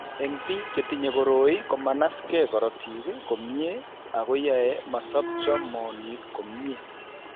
Eng' biko chetinye koroi, komanasge korotik komnyie ako yae masobcho moonik komnyie.